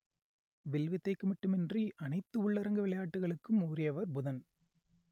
will வித்தைக்கு மட்டுமின்றி அனைத்து உள்ளரங்க விளையாட்டுகளுக்கும் உரியவர் புதன்